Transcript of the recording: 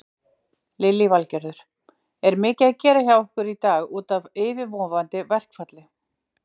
Lillý Valgerður: Er mikið að gera hjá ykkur í dag útaf yfirvofandi verkfalli?